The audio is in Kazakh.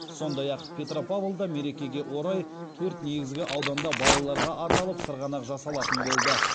сондай ақ петропавлда мерекеге орай төрт негізгі ауданда балаларға арналып сырғанақ жасалатын болды